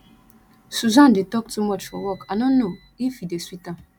susan dey talk too much for work i no know if e dey sweet am